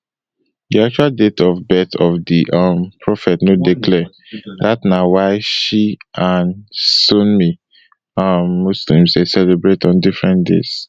di actual date of birth of di um prophet no dey clear dat na why shi and sunni um muslims dey celebrate on different days